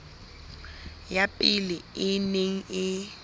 ya pele e neng e